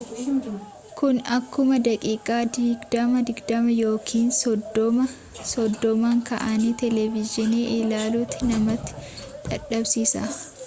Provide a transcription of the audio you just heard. kuni akkuma daqiiqa digdama digdama yookiin soddoma soddomaan ka'anii televiziyoona ilaluutti nama dadhabsiisa